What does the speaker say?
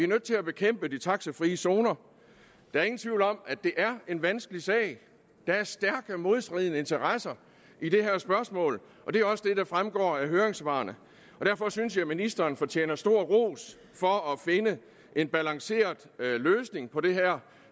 nødt til at bekæmpe de taxafri zoner der er ingen tvivl om at det er en vanskelig sag der er stærke modstridende interesser i det her spørgsmål og det er også det der fremgår af høringssvarene derfor synes jeg ministeren fortjener stor ros for at finde en balanceret løsning på det her